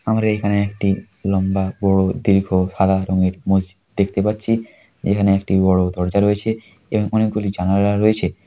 আমরা এখানে একটি লম্বা বড়ো দীর্ঘ সাদা রঙের মসজিদ দেখতে পাচ্ছি। এখানে একটি বড়ো দরজা রয়েছে এবং অনেক গুলি জানালা রয়েছে।